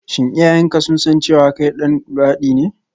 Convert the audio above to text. Shin iyayenka sun san cewa kai ɗan luwaɗi ne?